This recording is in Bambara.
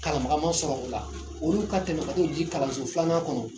Kalanbaqa ma sɔrɔ o la , olu ka t'o di kalanso filanan kɔnɔ .